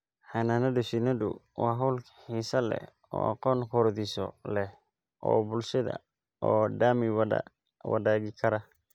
Xannaanada shinnidu waa hawl xiisa leh oo aqoon korodhsi leh oo bulshada oo dhami wada wadaagi karaan.